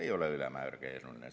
Ei ole ülemäära keeruline!